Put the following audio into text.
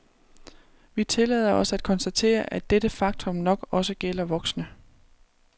Vi tillader os at konstatere, at dette faktum nok også gælder voksne.